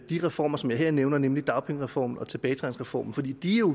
de reformer som jeg her nævner nemlig dagpengereformen og tilbagetrækningsreformen for de er jo